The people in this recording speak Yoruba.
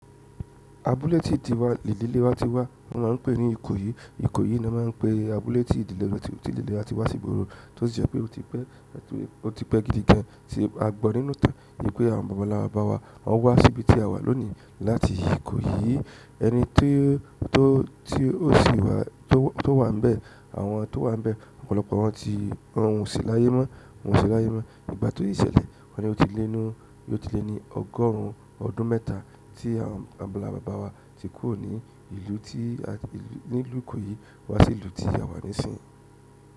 Abúlé tí ìdílé wa ti wá wọ́n ma ń pè ní Ìkòyí, Ìkòyí ni wọ́n máa ń pè abúlé tí ìdílé wa tí ò tí ìdílé wa ti wá sí ìgboro, tó sì jẹ́ pé ó ti pẹ́, ó ti pẹ́ gidi gan, tí a gbọ́ nínú ìtàn wípé àwọn bàbá nlà bàbà wa, wọ́n wá síbi tí a wà lónìí láti Ìkòyí. Ẹni tí ó sì wà, tó wà níbẹ̀, àwọn tó wà níbẹ̀, ọ̀pọ̀lọpọ̀ wọn ò sì láyé mọ́, wọ́n ò sì láyé mọ́. Ìgbà tó tìí ṣẹlẹ̀, wọ́n ni ó ti lé ní ọgọ́rùn ún ọdún mẹ́ta tí àwọn baba ńlá bàbà wa ti kúró ní ìlú tí, ní ìlú Ìkòyí wá sí ìlú tí a wà nísìnyí.